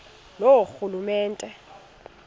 loorhulumente